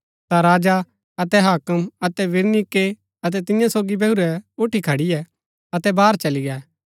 ता राजा अतै हाक्म अतै बिरनीके अतै तियां सोगी बैहुरै उठी खड़ियै अतै बाहर चली गै